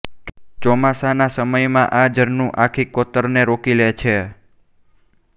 ચોમાસાના સમયમાં આ ઝરણું આખી કોતરને રોકી લે છે